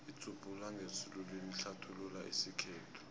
idzubhula ngesiluwini ihlathulula isikhethu